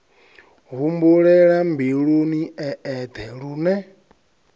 humbulela mbiluni e eṱhe lune